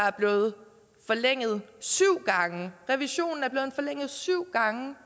er blevet forlænget syv gange revisionen er blevet forlænget syv gange